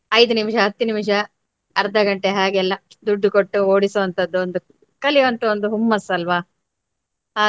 ಐದು ನಿಮಿಷ, ಹತ್ತು ನಿಮಿಷ ಅರ್ಧ ಗಂಟೆ ಹಾಗೆಲ್ಲ ದುಡ್ಡು ಕೊಟ್ಟು ಓಡಿಸುವಂತದ್ದು ಒಂದು ಕಲಿಯುವಂತ ಒಂದು ಹೊಮ್ಮಸ್ಸಲ್ವ.